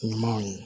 Ɲumanw ye